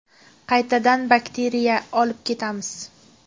Qaytadan bakteriya olib kelamiz.